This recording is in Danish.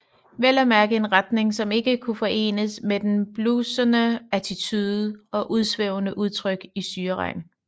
Vel at mærke en retning som ikke kunne forenes med den bluesede attitude og udsvævende udtryk i Syreregn